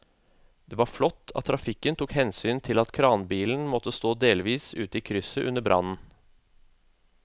Det var flott at trafikken tok hensyn til at kranbilen måtte stå delvis ute i krysset under brannen.